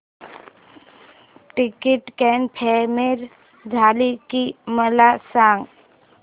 ticket confirm झाले की मला सांग